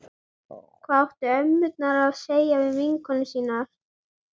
Hvað áttu ömmurnar að segja við vinkonur sínar?